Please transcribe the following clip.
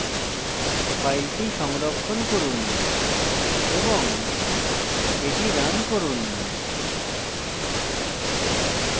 file সংরক্ষণ করুন এবং এটি রান করুন